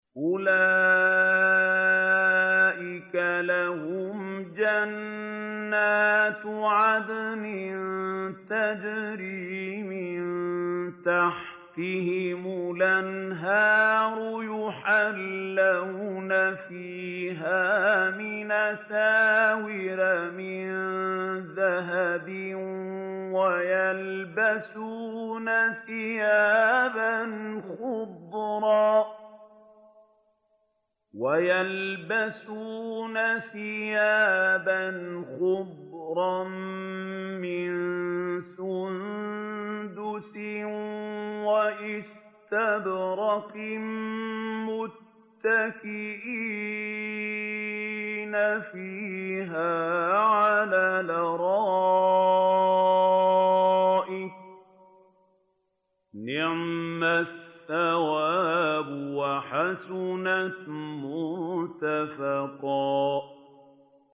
أُولَٰئِكَ لَهُمْ جَنَّاتُ عَدْنٍ تَجْرِي مِن تَحْتِهِمُ الْأَنْهَارُ يُحَلَّوْنَ فِيهَا مِنْ أَسَاوِرَ مِن ذَهَبٍ وَيَلْبَسُونَ ثِيَابًا خُضْرًا مِّن سُندُسٍ وَإِسْتَبْرَقٍ مُّتَّكِئِينَ فِيهَا عَلَى الْأَرَائِكِ ۚ نِعْمَ الثَّوَابُ وَحَسُنَتْ مُرْتَفَقًا